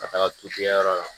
Ka taga yɔrɔ la